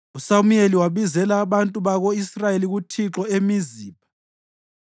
USamuyeli wabizela abantu bako-Israyeli kuThixo eMizipha